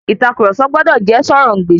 Ìtàkurọ̀sọ gbọdọ̀ jẹ́ sọ̀rọ̀-ǹ-gbèsì.